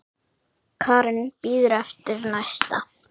Karen: Bíður eftir næsta?